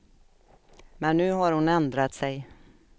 Men nu har hon ändrat sig.